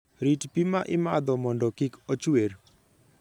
Rit pi ma imadho mondo kik ochwer.